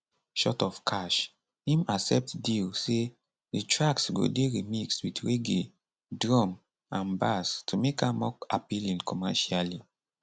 short of cash im accept deal say di tracks go dey remixed wit reggae drum and bass to make am more appealing commercially